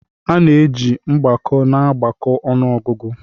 A na-eji ihe mgbako na-agbakọ ọnụ ọgụgụ